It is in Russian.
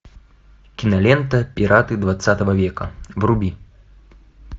кинолента пираты двадцатого века вруби